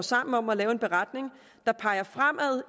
sammen om at lave en beretning der peger fremad